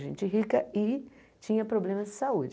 Gente rica e tinha problemas de saúde.